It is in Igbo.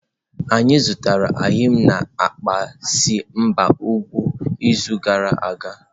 Anyị zụtara eyịm na akpa si n'ebe ugwu izu gara aga.